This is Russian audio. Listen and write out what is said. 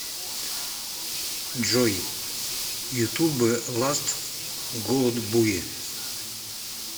джой ютуб ласт гудбай